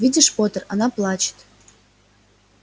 видишь поттер она плачет